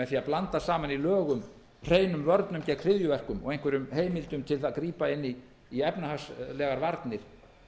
að blanda saman í lögum hreinum vörnum gegn hryðjuverkum og einhverjum heimildum til að grípa inn í efnahagslegar varnir